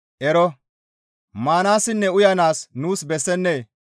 Ero! Maanaassinne uyanaas nuus bessennee?